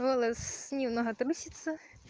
голос немного трусится